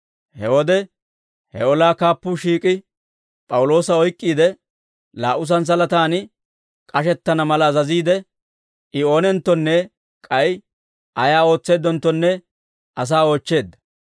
He wode, he olaa kaappuu shiik'i, P'awuloosa oyk'k'iide, laa"u santsalataan k'ashettana mala azaziide, I oonenttonne k'ay ayaa ootseeddenttonne asaa oochcheedda.